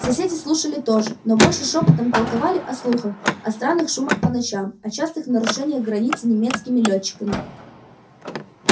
соседи слушали тоже но больше шёпотом толковали о слухах о странных шумах по ночам о частых нарушениях границы немецкими лётчиками